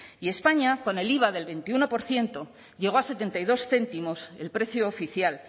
y españa con el iva del veintiuno por ciento llegó a setenta y dos céntimos el precio oficial